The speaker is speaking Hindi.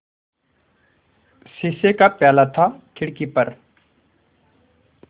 शीशे का प्याला था खिड़की पर